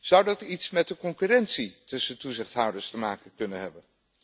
Zou dat iets met de concurrentie tussen toezichthouders te maken kunnen hebben?